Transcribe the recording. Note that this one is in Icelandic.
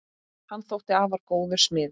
Hann þótti afar góður smiður.